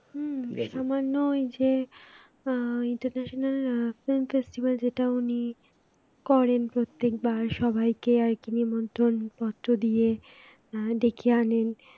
হম সামান্য এই যে আহ international absence এসেছিল যেটা উনি করেন প্রত্যেকবার সবাইকে আর কি নিমন্ত্রণ পত্র দিয়ে ডেকে আনেন